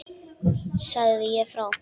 Segja frá.